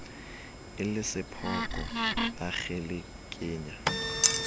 e le sephoko a kgelekenya